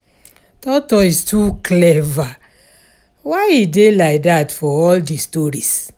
Tortoise too clever, why he dey like dat for all the stories